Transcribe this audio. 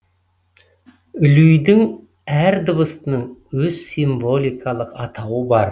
люйдің әр дыбысының өз символикалық атауы бар